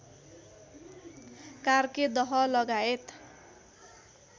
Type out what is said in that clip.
कार्के दह लगायत